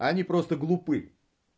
они просто глупы